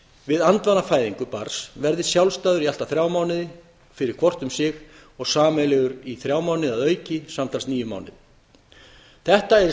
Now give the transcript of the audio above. við andvana fæðingu barns verði sjálfstæður í allt að þrjá mánuði fyrir hvort um sig og sameiginlegur í þrjá mánuði að auki samtals níu mánuðir þetta er í